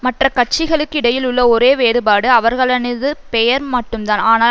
மற்ற கட்சிகளுக்கு இடையில் உள்ள ஒரே வேறுபாடு அவர்களினது பெயர் மட்டும்தான் ஆனால்